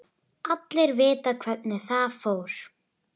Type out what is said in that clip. Allir vita hvernig það fór.